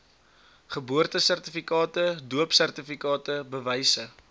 geboortesertifikate doopsertifikate bewyse